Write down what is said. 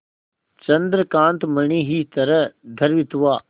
चंद्रकांत मणि ही तरह द्रवित हुआ